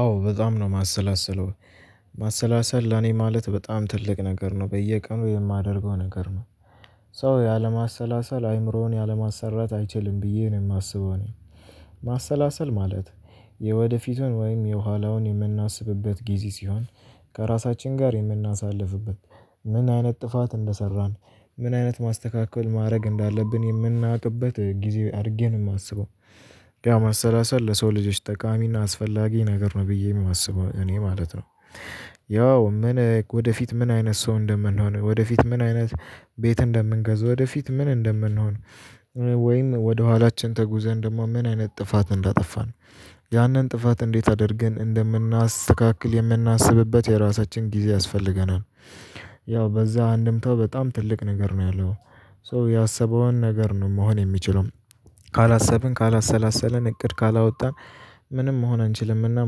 አዎ በጣም ነው ማሰላሰለው ማሰላሰል ለኔ ማለት በጣም ትልቅ ነገር ነው በየቀኑ የማደርገው ነገር ነው። ሰው ያለማሰላሰል አይምሮውን ያለማሰራት አይችልም ብዬ ነው የማስበው። እኔ ማሰላሰል ማለት የወደፊቱን ወይም የኋላውን የምናስብበት ጊዜ ሲሆን ከራሳችን ጋር የምናሳልፍበት ምን አይነት ጥፋት እንደሰራን ምን አይነት ማስተካከል ማድረግ እንዳለብን የምናውቅበት ጊዜ አድርጌ ነው የማስበው። ያው ማሰላሰል ለሰው ልጆች ጠቃሚና አስፈላጊ ነገር ነው ብዬ የማስበው እኔ ማለት ነው። ያው ምን ወደፊት ምን አይነት ሰው እንደምንሆን ወደፊት ምን አይነት ቤት እንደምንገዛ ወደፊት ምን እንደምንሆን። ወይም ወደ ኋላችን ተጉዘን ደግሞ ምን አይነት ጥፋት እንዳጠፋን ያንን ጥፋት እንዴት አድርገን እንደምናስተካክል የምናስብበት የራሳችን ጊዜ ያስፈልገናል። ያው በዛ አንድምታው በጣም ትልቅ ነገር ነው ያለው ሰው ያሰበውን ነገር ነው መሆን የሚችለው። ካላሰብን ካላሰላሰልን እቅድ ካላወጣን ምንም መሆን አንችልምና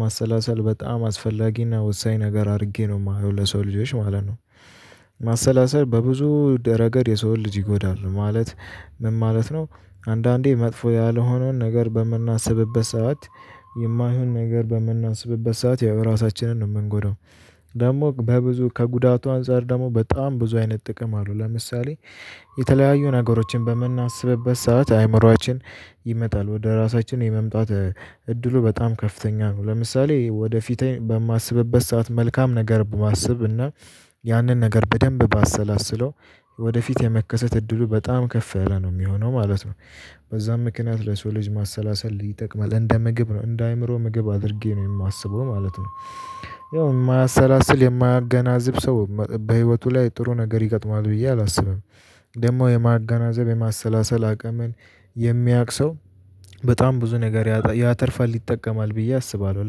ማሰላሰል በጣም አስፈላጊና ወሳኝ ነገር አድርጌ ነው የማየው ለሰው ልጆች ማለት ነው። ማሰላሰል በብዙ ደ ረገድ የሰው ልጅ ይጎዳሉ ማለት ምን ማለት ነው? አንዳንዴ መጥፎ ያልሆነውን ነገር በምናስብበት ሰዓት የማይሆን ነገር በምናስብበት ሰዓት ያው ራሳችንን ነው የምንጎዳው። ደግሞ በብዙ ከጉዳቱ አንፃር ደግሞ በጣም ብዙ አይነት ጥቅም አሉ ለምሳሌ። የተለያዩ ነገሮችን በምናስብበት ሰዓት አይምሮአችን ይመጣል ወደ ራሳችን የመምጣት እድሉ በጣም ከፍተኛ ነው። ለምሳሌ ወደፊት በማስብበት ሰዓት መልካም ነገር በማስብ እና ያንን ነገር በደንብ ባሰላስለው ወደፊት የመከሰት እድሉ በጣም ከፍ ያለ ነው የሚሆነው ማለት ነው። በዛም ምክንያት ለሰው ልጅ ማሰላሰል ይጠቅማል እንደ ምግብ ነው እንደ አእምሮ ምግብ አድርጌ ነው የማስበው ማለት ነው። የማያሰላስል የማያገናዝብ ሰው በህይወቱ ላይ ጥሩ ነገር ይገጥማል ብዬ አላስብም። ደግሞ የማገናዘብ የማሰላሰል አቅምን የሚያቅ ሰው በጣም ብዙ ነገር ያተርፋል ይጠቀማል ብዬ አስባለሁ።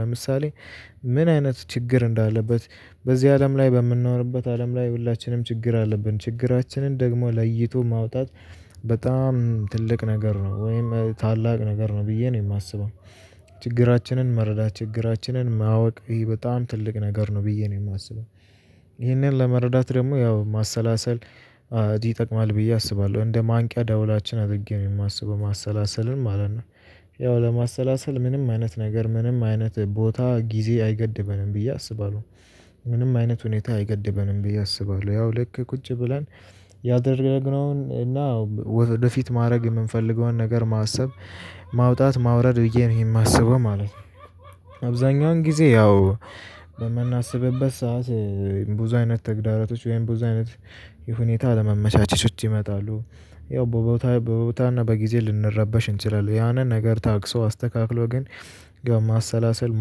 ለምሳሌ ምን አይነት ችግር እንዳለበት በዚህ አለም ላይ በምንኖርበት አለም ላይ ሁላችንም ችግር አለብን ችግራችንን ደግሞ ለይቶ ማውጣት በጣም ትልቅ ነገር ነው ወይም ታላቅ ነገር ነው ብዬ ነው የማስበው። ችግራችንን መረዳት ችግራችንን ማወቅ ይሄ በጣም ትልቅ ነገር ነው ብዬ ነው የማስበው። ይሄንን ለመረዳት ደግሞ ያው ማሰላሰል ይጠቅማል ብዬ አስባለሁ እንደ ማንቂያ ዳውላችን አድርጌ የማስበው ማሰላሰልን ማለት ነው። ያው ለማሰላሰል ምንም አይነት ነገር ምንም አይነት ቦታ ጊዜ አይገድበንም ብዬ አስባለሁ። ምንም አይነት ሁኔታ አይገድበንም ብዬ አስባለሁ ያው ልክ ቁጭ ብለን ያደረግነውን እና ወደፊት ማድረግ የምንፈልገውን ነገር ማሰብ። ማውጣት ማውረድ ብዬ ነው ይሄ የማስበው ማለት ነው። አብዛኛውን ጊዜ ያው በምናስብበት ሰዓት ብዙ አይነት ተግዳሮቶች ወይም ብዙ አይነት የሁኔታ አለመመቻቸቶች ይመጣሉ። ያው ቦታ ቦታና በጊዜ ልንረበሽ እንችላለን ያንን ነገር ታግሶ አስተካክሎ ግን ግብ ማሰላሰል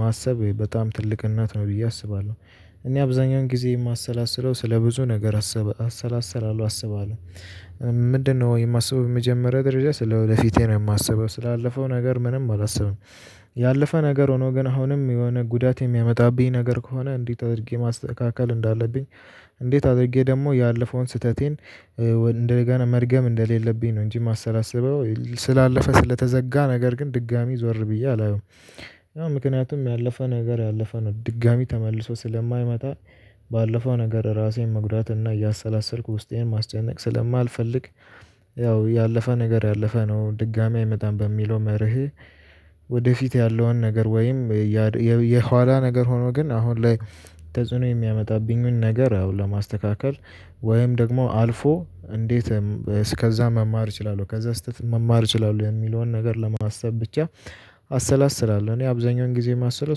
ማሰብ በጣም ትልቅ እናት ነው ብዬ አስባለሁ። እኔ አብዛኛውን ጊዜ የማሰላስለው ስለ ብዙ ነገር አሰላስላለሁ አስባለሁ። ምንድነው የማስበው የመጀመሪያ ደረጃ ስለወደፊቴ ነው የማስበው ስላለፈው ነገር ምንም አላስብም። ያለፈ ነገር ሆኖ ግን አሁንም የሆነ ጉዳት የሚያመጣብኝ ነገር ከሆነ እንዴት አድርጌ ማስተካከል እንዳለብኝ። እንዴት አድርጌ ደግሞ ያለፈውን ስህተቴን እንደገና መድገም እንደሌለብኝ ነው እንጂ የማሰላስበው ስላለፈ ስለተዘጋ ነገር ግን ድጋሚ ዞር ብዬ አላየውም። አሁን ምክንያቱም ያለፈ ነገር ያለፈ ነው ድጋሚ ተመልሶ ስለማይመጣ። ባለፈው ነገር ራሴን መጉዳት እና እያሰላሰልኩ ውስጤን ማስጨነቅ ስለማልፈልግ። ያው ያለፈ ነገር ያለፈ ነው ድጋሚ አይመጣም በሚለው መርህ። ወደፊት ያለውን ነገር ወይም የኋላ ነገር ሆኖ ግን አሁን ላይ ተጽዕኖ የሚያመጣብኝን ነገር አዎ ለማስተካከል ወይም ደግሞ አልፎ እንዴት እስከዛ መማር እችላለሁ ከዛ ስህተት መማር እችላለሁ የሚለውን ነገር ለማሰብ ብቻ። አሰላስላለሁ እኔ አብዛኛውን ጊዜ የማስለው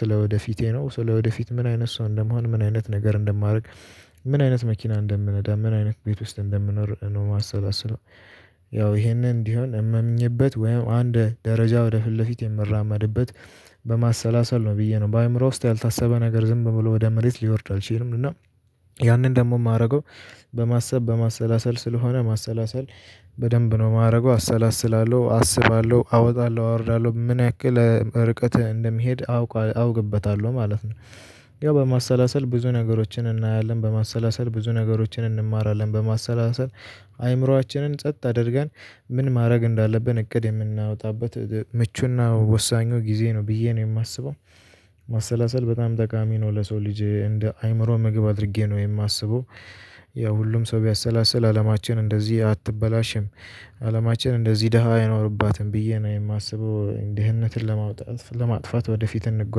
ስለ ወደፊቴ ነው ስለወደፊት ምን አይነት ሰው እንደምሆን ምን አይነት ነገር እንደማደርግ። ምን አይነት መኪና እንደምነዳ ምን አይነት ቤት ውስጥ እንደምኖር ነው ማሰላስለው። ያው ይሄንን እንዲሆን እመምኜበት ወይም አንድ ደረጃ ወደ ፊት ለፊት የምራመድበት በማሰላሰል ነው ብዬ ነው በአእምሮ ውስጥ ያልታሰበ ነገር ዝም ብሎ ወደ መሬት ሊወርድ አልችልም እና። ያንን ደግሞ የማደርገው በማሰብ በማሰላሰል ስለሆነ ማሰላሰል በደንብ ነው የማደርገው አሰላስላለሁ አስባለሁ አወጣለሁ አወርዳለሁ ምን ያክል ርቀት እንደሚሄድ አውቅ አውቅበታለሁ ማለት ነው። ያው በማሰላሰል ብዙ ነገሮችን እናያለን በማሰላሰል ብዙ ነገሮችን እንማራለን በማሰላሰል አይምሮአችንን ጸጥ አድርገን ምን ማድረግ እንዳለብን እቅድ የምናወጣበት ምቹና ወሳኙ ጊዜ ነው ብዬ ነው የማስበው። ማሰላሰል በጣም ጠቃሚ ነው ለሰው ልጅ እንደ አይምሮ ምግብ አድርጌ ነው የማስበው። ያ ሁሉም ሰው ቢያሰላስል አለማችን እንደዚህ አትበላሽም። አለማችን እንደዚህ ደሃ አይኖርባትም ብዬ ነው የማስበው ድህነትን ለማውጣት ለማጥፋት ወደፊት እንጓዝ